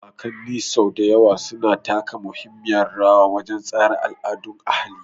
Kakanni sau da yawa suna taka muhimmiyar rawa wajen tsara al'adun ahali.